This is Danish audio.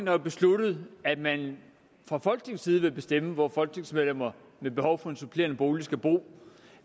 har jo besluttet at man fra folketingets side vil bestemme hvor folketingsmedlemmer med behov for en supplerende bolig skal bo